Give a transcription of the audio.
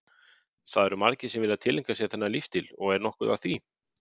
Það eru margir sem vilja tileinka sér þennan lífstíl og er nokkuð að því?